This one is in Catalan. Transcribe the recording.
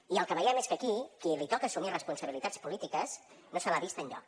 i el que veiem és que aquí a qui li toca assumir responsabilitats polítiques no se l’ha vist enlloc